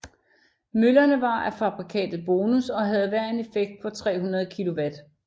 Møllerne var af fabrikatet Bonus og havde hver en effekt på 300 kW